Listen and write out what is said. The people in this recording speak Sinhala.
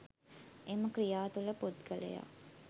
එම ක්‍රියා තුළ පුද්ගලයා